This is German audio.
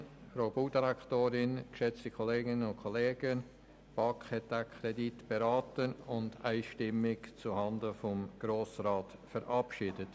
der BaK. Die BaK hat diesen Kredit beraten und einstimmig zuhanden des Grossen Rates verabschiedet.